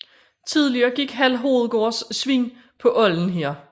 Tidligere gik Hald Hovedgårds svin på olden her